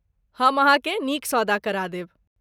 हम अहाँकेँ नीक सौदा करा देब।